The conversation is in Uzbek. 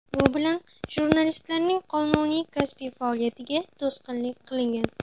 Bu bilan jurnalistlarning qonuniy kasbiy faoliyatiga to‘sqinlik qilingan”.